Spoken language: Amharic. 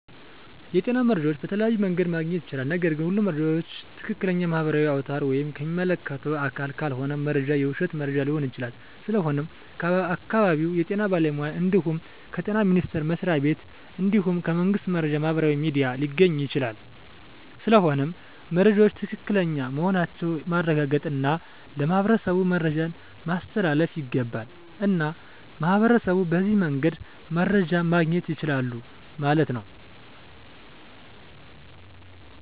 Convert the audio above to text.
የጤና መረጃ በተለያዮ መንገድ ማግኘት ይቻላል ነገርግ ሁሉም መረጃ ዎችን ከትክለኛ ማህበራዊ አውታር ወይም ከሚመለከተው አካል ካልሆነ መረጃው የውሽት መረጃ ሊሆን ይችላል ስለሆነም ከአካባቢው የጤና ባለሙያ እንድሁም ከጤና ሚኒስተር መስሪያ ቤት እንድሁም ከመንግስት የመረጃ ማህበራዊ ሚዲያ ሊገኝ ይቻላል ስለሆነም መረጃወች ትክክለኛ መሆናቸውን ማረጋገጥ እና ለማህበረሠቡ መረጃን ማስተላለፍ ይገባል። እና ሚህበረሸቡ በዚህ መንገድ መረጃ ማገኘት ይችላሉ ማለት ነው